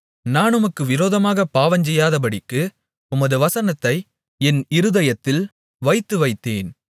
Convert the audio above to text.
நான் உமக்கு விரோதமாகப் பாவஞ்செய்யாதபடிக்கு உமது வசனத்தை என் இருதயத்தில் வைத்து வைத்தேன்